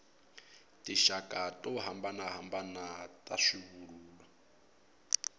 tinxaka to hambanahambana ta swivulwa